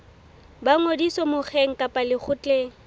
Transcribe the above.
ba ngodiso mokgeng kapa lekgotleng